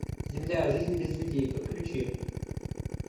земля жизнь без людей подключи